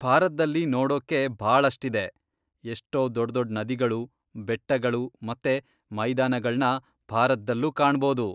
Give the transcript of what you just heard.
ಭಾರತ್ದಲ್ಲಿ ನೋಡೋಕ್ಕೆ ಭಾಳಷ್ಟಿದೆ, ಎಷ್ಟೋ ದೊಡ್ದೊಡ್ ನದಿಗಳು, ಬೆಟ್ಟಗಳು ಮತ್ತೆ ಮೈದಾನಗಳ್ನ ಭಾರತ್ದಲ್ಲೂ ಕಾಣ್ಬೋದು.